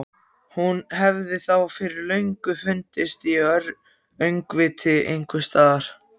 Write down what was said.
Hún hefði þá fyrir löngu fundist í öngviti einhvers staðar.